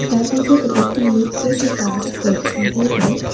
তার ভেতরে একটি লোক বসে কাজ করছেন এবং--